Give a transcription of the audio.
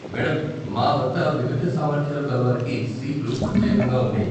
Madam, మా వద్ద విభిన్న సామర్థ్యాలు కలవారికి సీట్లు ప్రత్యేకంగా ఉన్నాయి.